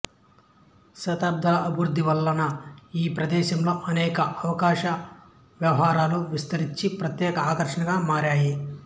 దశాబ్దాల అభివృద్ధి వలన ఈ ప్రదేశంలో అనేక ఆకాశ హర్మ్యాలు విస్తరించి ప్రత్యేక ఆకర్షణగా మారాయి